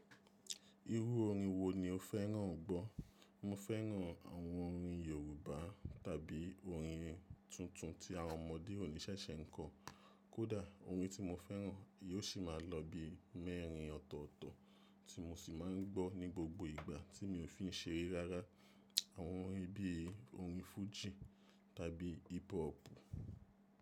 Irú orin wo ni o fẹ́ràn gbọ́? Mo fẹ́ràn àwọn orin Yorùbá tàbí orin tuntun tí àwọn ọmọdé òní ṣẹ̀ṣẹ̀ ń kọ. Kódà, orin tí mo fẹ́ràn yóò ṣì máa lọ bí i mẹ́rin ọ̀tọ̀ọ̀tọ̀ tí mo sì máa ń gbọ́ ní gbogbo ìgbà tí mi ò fi ń ṣeré rárá. Àwọn orin bí i orin fújì tàbí hip hop.